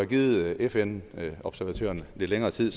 givet fn observatørerne lidt længere tid